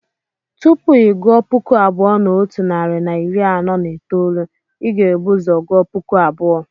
Tupu ị gụọ puku abụọ na otu narị na iri anọ na itoolu, ị ga-ebu ụzọ gụọ puku abụọ.